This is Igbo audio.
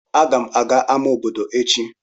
Agam aga ama obodo echi.